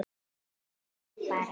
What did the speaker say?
Það heillar mig bara.